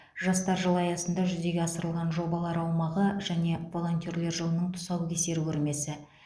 жастар жылы аясында жүзеге асырылған жобалар аумағы және волонтерлер жылының тұсаукесер көрмесі